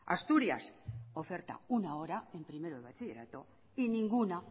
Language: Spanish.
asturias oferta una hora en primero de bachillerato y ninguna